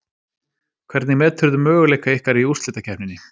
Hvernig meturðu möguleika ykkar í úrslitakeppninni?